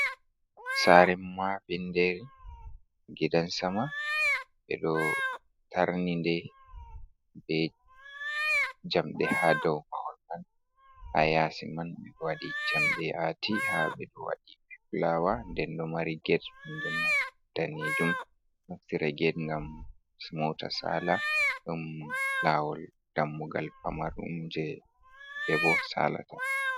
Saare Mapindiire, gidan sama ɓeɗon tarninɗe bee jamɗe hadow mahol man, haa yasi man ɓeɗon waɗi jamɗe haa ahti haɓe waɗi filawa ndenbo mari get daneejum, andira get ngam moota saala, ɗum lawol Dammugal pararum je yimɓe boh salata.